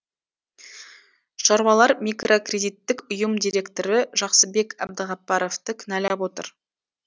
шаруалар микрокредиттік ұйым директоры жақсыбек әбдіғаппаровты кінәлап отыр